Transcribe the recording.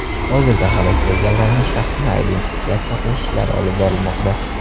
Hozirda halok bo‘lganlarning shaxsini identifikatsiya qilish ishlari olib borilmoqda.